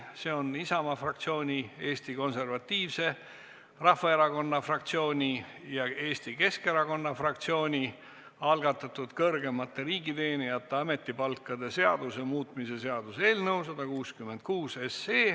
See on Isamaa fraktsiooni, Eesti Konservatiivse Rahvaerakonna fraktsiooni ja Eesti Keskerakonna fraktsiooni algatatud kõrgemate riigiteenijate ametipalkade seaduse muutmise seaduse eelnõu 166.